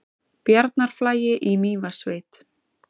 Bjarnarflagi í Mývatnssveit.